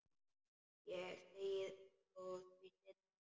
Ég segi frá því seinna.